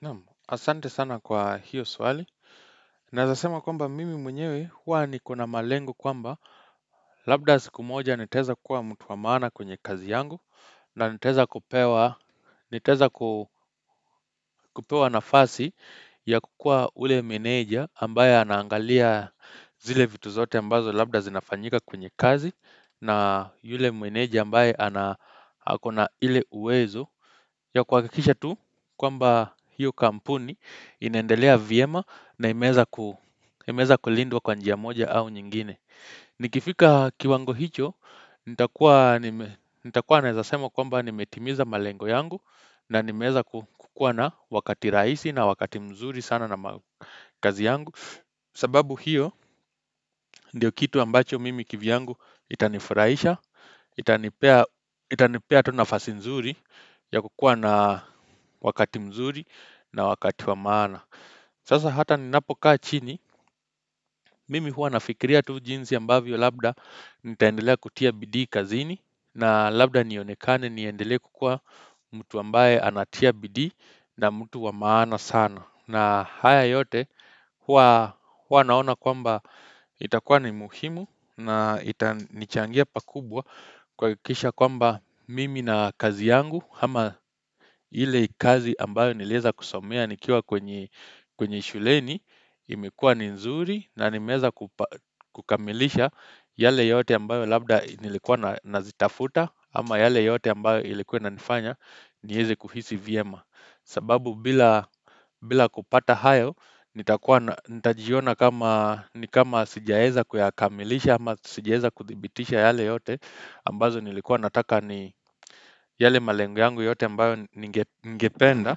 Namu, asante sana kwa hiyo swali. Naezasema kwamba mimi mwenyewe huwa nikona malengo kwamba Labda sikumoja niteza kuwa mtuwamana kwenye kazi yangu na niteza kupewa nafasi ya kukua ule meneja ambaye anaangalia zile vitu zote ambazo Labda sinafanyika kwenye kazi na yule meneja ambaye akona ile uwezo ya kwa kikisha tu kwamba hiyo kampuni inendelea viema na imeza kulindwa kwa njia moja au nyingine. Nikifika kiwango hicho, nitakuwa naezasema kwamba nimetimiza malengo yangu na nimeza kukuwa na wakati raisi na wakati mzuri sana na kazi yangu. Sababu hiyo ndiyo kitu ambacho mimi kivyangu itanifuraisha Itanipea tonafasi mzuri ya kukua na wakati mzuri na wakati wamaana Sasa hata ninapokaa chini mimi hua nafikiria tu jinzi ambavyo labda Nitaendelea kutia bidi kazini na labda nionekane niendelea kukua mtu ambaye anatia bidi na mtu wamaana sana na haya yote huwa naona kwamba itakuwa ni muhimu na itanichangia pakubwa kwakisha kwamba mimi na kazi yangu Hama hile kazi ambayo nileza kusomea nikiwa kwenye shuleni imekua ni nzuri na nimeza kukamilisha yale yote ambayo labda nilekua nazitafuta ama yale yote ambayo ilikuwa na nifanya ni heze kuhisi viema. Sababu bila kupata hayo, nitajiona kama sijaeza kuyakamilisha ama sijaeza kuthibitisha yale yote ambazo nilikuwa nataka ni yale malengo yangu yote ambayo ningependa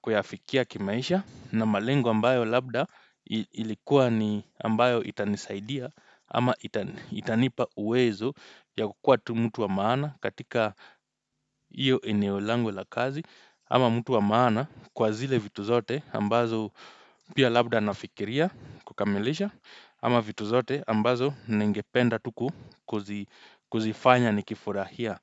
kuyafikia kimaisha na malengo ambayo labda ilikuwa ni ambayo itanisaidia ama itanipa uwezo ya kukua tumutu wa maana katika iyo eneo langu la kazi ama mtu wa maana kwa zile vitu zote ambazo pia labda nafikiria kukamelesha ama vitu zote ambazo ningependa tu kuzifanya ni kifurahia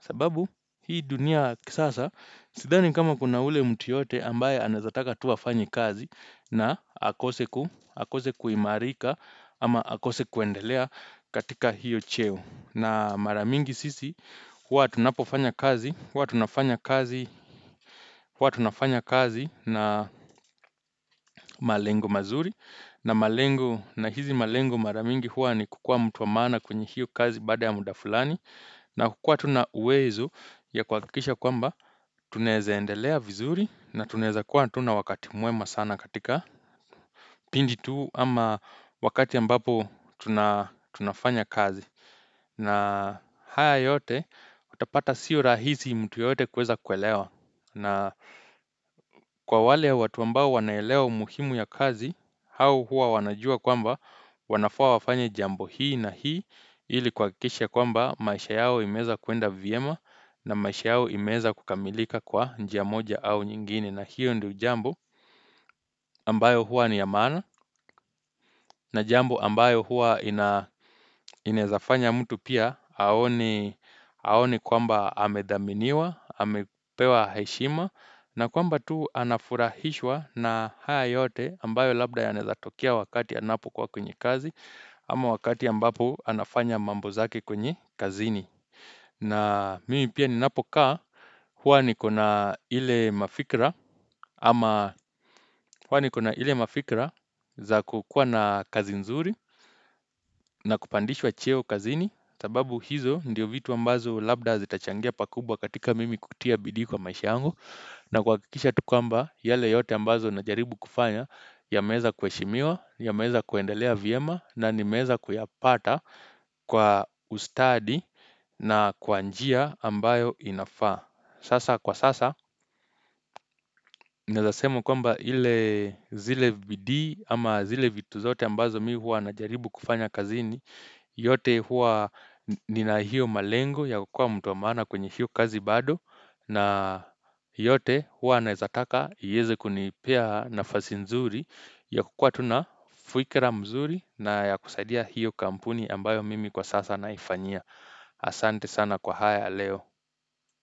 sababu hii dunia kisasa sidani kama kuna ule mtu yote ambaye anaezataka tuwa afanye kazi na akose kuimarika ama akose kuendelea katika hiyo cheo na maramingi sisi, hua tunapofanya kazi, hua tunafanya kazi, hua tunafanya kazi na malengo mazuri na malengo, na hizi malengo maramingi hua ni kukua mtuwamana kwenye hiyo kazi bada ya muda fulani na kukua tuna uwezo ya kwakisha kwamba tuneze endelea vizuri na tuneze kuwa tuna wakati muema sana katika pindi tuu ama wakati ambapo tunafanya kazi na haya yote utapata sio rahizi mtu yoyote kweza kwelewa na kwa wale watu ambao wanaelewa umuhimu ya kazi Hawu hua wanajua kwamba wanafaa wafanye jambo hii na hii Ili kwakisha kwamba maisha yao imezakuenda viema na maisha yao imeza kukamilika kwa njia moja au nyingine na hiyo ndiyo jambo ambayo hua ni ya mana na jambo ambayo hua inezafanya mtu pia Haoni kwamba hamedaminiwa, hamepewa heshima na kwamba tu anafurahishwa na haya yote ambayo labda yanaezatokia wakati anapo kuwa kwenye kazi ama wakati yambapo anafanya mambo zake kwenye kazini na mimi pia ninapokaa huwa ni kona ile mafikra ama huwa ni kona ile mafikra za kukua na kazi nzuri na kupandishwa cheo kazini sababu hizo ndiyo vitu ambazo labda zitachangia pakubwa katika mimi kutia bidii kwa maisha yangu na kwakikisha tu kwamba yale yote ambazo na jaribu kufanya ya meza kueshimiwa, ya meza kuendelea viema na nimeza kuyapata kwa ustadi na kwa njia ambayo inafaa Sasa kwa sasa, naezasema kwamba hile zile bidii ama zile vitu zote ambazo mi hua na jaribu kufanya kazini yote hua nina hiyo malengo ya kukua mtuamana kwenye hiyo kazi bado na yote hua anezataka iyeze kunipea nafazi nzuri ya kukua tuna fuikira mzuri na ya kusaidia hiyo kampuni ambayo mimi kwa sasa naifanyia Asante sana kwa haya leo.